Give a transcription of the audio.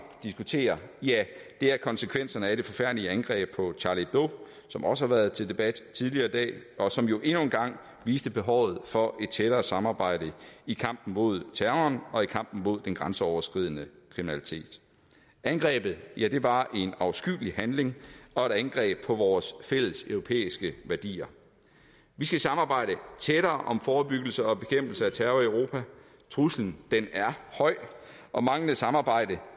diskutere er konsekvenserne af det forfærdelige angreb på charlie hebdo som også har været til debat tidligere i dag og som jo endnu en gang har vist behovet for et tættere samarbejde i kampen mod terroren og i kampen mod den grænseoverskridende kriminalitet angrebet var en afskyelig handling og et angreb på vores fælles europæiske værdier vi skal samarbejde tættere om forebyggelse og bekæmpelse af terror i europa truslen er høj og manglende samarbejde